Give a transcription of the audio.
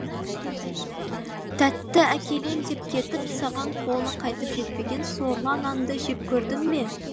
тәтті әкелем деп кетіп саған қолы қайтып жетпеген сорлы анаңды жек көрдің бе